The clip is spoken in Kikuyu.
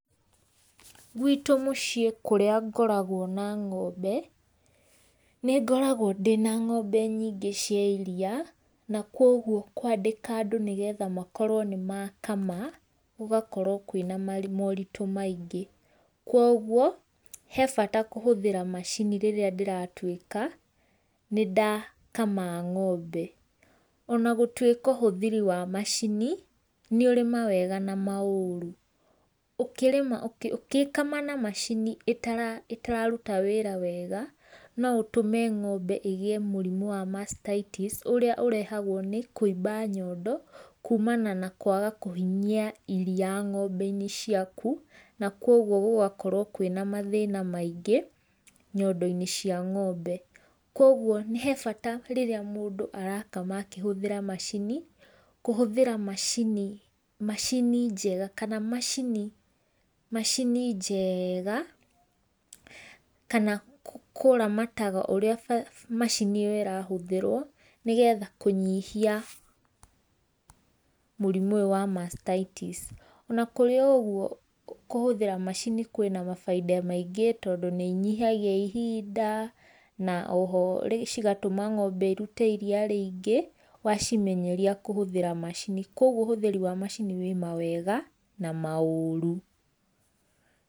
Gwĩtũ mũciĩ kũrĩa ngoragwo na ngombe nĩgoragwo ndĩna ngombe nyĩngĩ cia iria na kũogwo kũandĩka andũ nĩgetha makorwo nĩ makama, gũgakorwo kwĩna maũrĩtũ maĩngĩ kwogwo he bata kũhĩthĩra macini rĩrĩra ndĩratũĩka nĩ dakama ngombe, ona gũtũĩka ũhũthĩri wa macini nĩ ũrĩ mawega na maũrũ ũgĩkama na macini ĩtararũta wĩra wega, no ũtume ngombe ĩgĩe mũrĩmũ wa mastitis ũrĩa ũrehagwo nĩ kũĩba nyondo. Kũmana na kũaga kũhĩnyĩa iria ngombe inĩ ciakũ na kwogwo gũgakorwo wĩna mathĩna maĩngĩ, nyondo inĩ cĩa ngombe kwogwo he bata rĩrĩa mũndũ arakama kũhũthĩra macini macini jega kana macini jega, kana kũramata ũrĩa macini ũrĩa ĩrahũthĩrwo nĩ getha kũnyĩhia mũrimũ ũyũ wa mastitis. Ona kũrĩ ogũo kũhũthĩra macini kwĩna mabaĩda maĩngĩ tondũ nĩ ĩnyihagĩa ihinda na oho cĩgatũma ngombe irũte iria rĩngĩ wacimenyerĩa kũhũthĩra macini kwogwo ũhũthĩrĩ wa macini kwogwo ũhũthĩrĩ wa macini wĩ mawega na maũrũ.